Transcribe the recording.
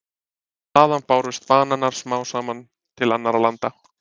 Þaðan bárust bananar smám saman til annarra landa.